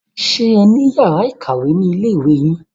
Ṣé ẹ ní yàrá ìkàwé ni ilé ìwé yín?